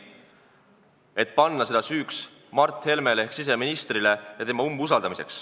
Sellist asja ei saa panna süüks Mart Helmele ehk siseministrile ja teda seetõttu umbusaldada.